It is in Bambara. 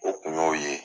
O kun y'o ye